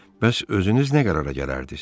Bəs özünüz nə qərara gələrdiz?